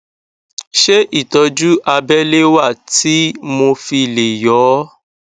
ṣé ìtọjú abẹlé wà tí mo fi lè yọ ọ